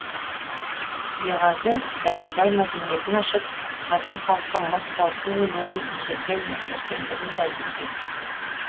беғазы дәндібай мәдениетін ашып қазақ халқы мыс қорыту өнерін ежелден меңгергендігін дәлелдеді